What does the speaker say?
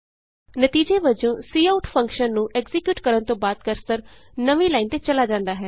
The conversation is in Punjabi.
ਨਤੀਜੇ ਵਜੋਂ ਕਾਉਟ ਫੰਕਸ਼ਨ ਨੂੰ ਐਕਜ਼ੀਕਿਯੂਟ ਕਰਨ ਤੋਂ ਬਾਅਦ ਕਰਸਰ ਨਵੀਂ ਲਾਈਨ ਤੇ ਚਲਾ ਜਾਂਦਾ ਹੈ